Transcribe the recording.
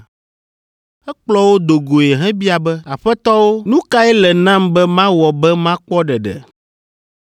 Ekplɔ wo do goe hebia be, “Aƒetɔwo, nu kae le nam be mawɔ be makpɔ ɖeɖe?”